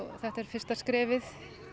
þetta er fyrsta skrefið